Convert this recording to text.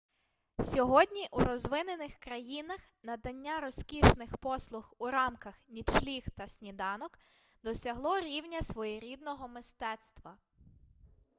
сьогодні у розвинених країнах надання розкішних послуг у рамках нічліг та сніданок досягло рівня своєрідного мистецтва